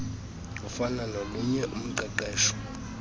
afana nolunye uqeqesho